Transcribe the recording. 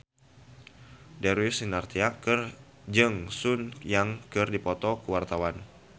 Darius Sinathrya jeung Sun Yang keur dipoto ku wartawan